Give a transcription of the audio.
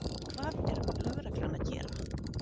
Hvað er lögreglan að gera?